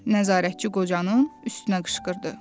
nəzarətçi qocanın üstünə qışqırdı.